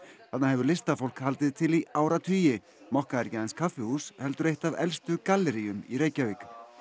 þarna hefur listafólk haldið til í áratugi mokka er ekki aðeins kaffihús heldur eitt af elstu galleríum í Reykjavík